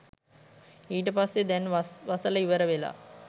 ඊට පස්සේ දැන් වස් වසලා ඉවරවෙලා